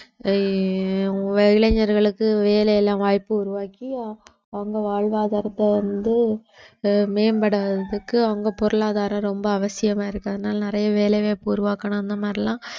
அஹ் இளைஞர்களுக்கு வேலையில வாய்ப்பு உருவாக்கி அவங்க வாழ்வாதாரத்தை வந்து மேம்படாததுக்கு அவங்க பொருளாதாரம் ரொம்ப அவசியமா இருக்கு அதனால நிறைய வேலைவாய்ப்பு உருவாக்கணும் அந்த மாதிரி எல்லாம்